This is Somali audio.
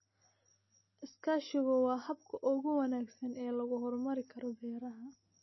Iskaashigu waa habka ugu wanaagsan ee lagu horumarin karo beeraha.